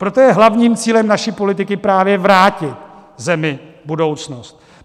Proto je hlavním cílem naší politiky právě vrátit zemi budoucnost.